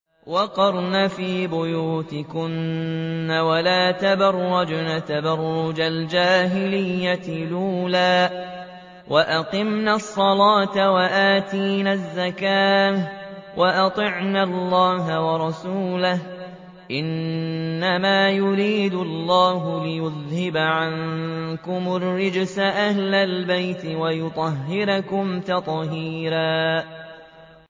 وَقَرْنَ فِي بُيُوتِكُنَّ وَلَا تَبَرَّجْنَ تَبَرُّجَ الْجَاهِلِيَّةِ الْأُولَىٰ ۖ وَأَقِمْنَ الصَّلَاةَ وَآتِينَ الزَّكَاةَ وَأَطِعْنَ اللَّهَ وَرَسُولَهُ ۚ إِنَّمَا يُرِيدُ اللَّهُ لِيُذْهِبَ عَنكُمُ الرِّجْسَ أَهْلَ الْبَيْتِ وَيُطَهِّرَكُمْ تَطْهِيرًا